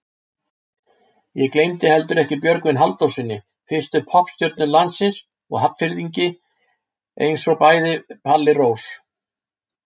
Ég gleymdi heldur ekki Björgvini Halldórssyni, fyrstu poppstjörnu landsins og Hafnfirðingi einsog bæði Palli Rós.